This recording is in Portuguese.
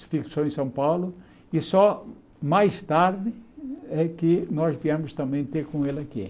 Se fixou em São Paulo e só mais tarde é que nós viemos também ter com ele aqui.